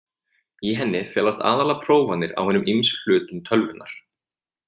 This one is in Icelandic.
Í henni felast aðallega prófanir á hinum ýmsu hlutum tölvunnar.